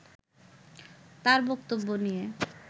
তার বক্তব্য নিয়ে